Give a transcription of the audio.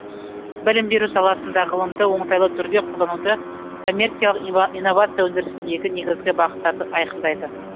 білім беру саласында ғылымды оңтайлы түрде қолдануды коммерциялық инновация өндірісіндегі негізгі бағыттарды айқындайды